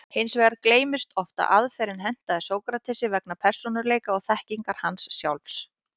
Hins vegar gleymist oft að aðferðin hentaði Sókratesi vegna persónuleika og þekkingar hans sjálfs.